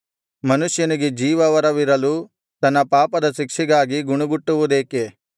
ಮನುಷ್ಯನಿಗೆ ಜೀವ ವರವಿರಲು ತನ್ನ ಪಾಪದ ಶಿಕ್ಷೆಗಾಗಿ ಗುಣುಗುಟ್ಟುವುದೇಕೆ